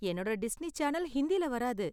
என்னோட Disney channel ஹிந்தில வராது.